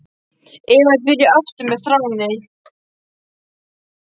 Eva er byrjuð aftur með Þráni.